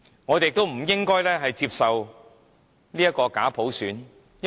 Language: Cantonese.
我們亦不應接受假普選。